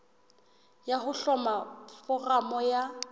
ya ho hloma foramo ya